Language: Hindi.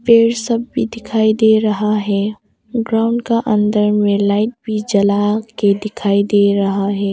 पेड़ सब भी दिखाई दे रहा है। ग्राउंड का अंदर मे लाइट भी जला के दिखाई दे रहा है।